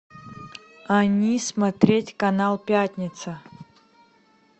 они смотреть канал пятница